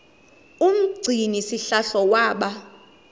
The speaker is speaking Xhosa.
umgcini sihlalo waba